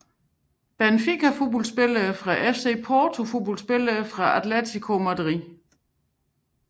Benfica Fodboldspillere fra FC Porto Fodboldspillere fra Atlético Madrid